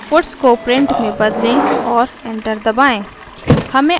puts को print में बदले और एंटर दबाएँ